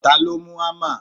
taló mú hámà?